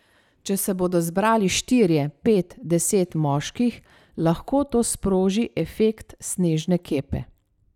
Če se bodo zbrali štirje, pet, deset moških, lahko to sproži efekt snežne kepe.